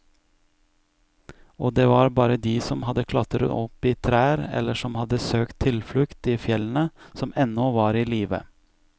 Og det var bare de som hadde klatret opp i trær eller som hadde søkt tilflukt i fjellene, som ennå var i live.